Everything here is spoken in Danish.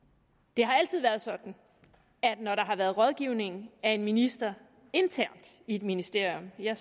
det har altid været sådan at når der har været rådgivning af en minister internt i et ministerium har